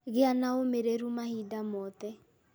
Gĩa na ũmĩrĩru mahinda mothe